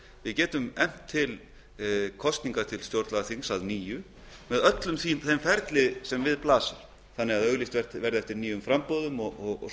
við getum efnt til kosninga til stjórnlagaþings að nýju með öllu því ferli sem við blasir þannig að auglýst verði eftir nýjum framboðum og svo